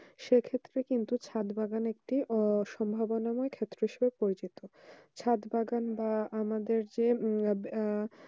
সেই ক্ষেত্রে কিন্তু ছাদ বাগান আহ সম্ভাবনা পরিবর্তন ক্ষেত্র পরিচিত সাত বাগান বা আমাদের যে অধ্যয়ন